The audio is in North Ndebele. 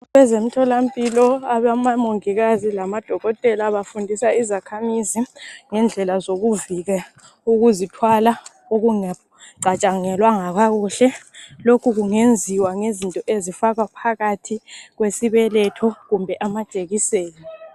Kwezemtholampilo labomongikazi kanye labodokotela bafundisa izakhamizi ngendlela zokuzivika ukuzithwala okungacatshangelwanga kakuhle. Lokhu kungenziwa ngezinto ezifakwa phakathi kwesibeletho kumbe amajekiseni